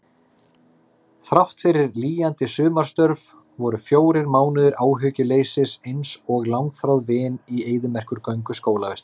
Þráttfyrir lýjandi sumarstörf voru fjórir mánuðir áhyggjuleysis einsog langþráð vin í eyðimerkurgöngu skólavistar.